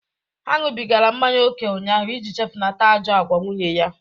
Ha ṅụbigara mmanya ókè ụnyaahụ iji chefunata ajọ agwa nwunye ya.